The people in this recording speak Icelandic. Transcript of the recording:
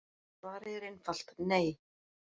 Svarið er einfalt: Nei.